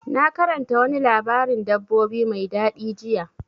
Na karanta wani labarin dabbobi mai daɗi jiya.